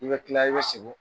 I bɛ tila i bɛ sogo